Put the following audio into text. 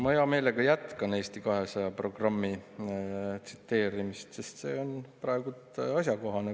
Ma hea meelega jätkan Eesti 200 programmi tsiteerimist, sest see on praegu asjakohane.